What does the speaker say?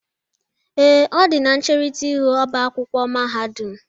Ee, ọ dị na ncherita ihu oba akwụkwọ mahadum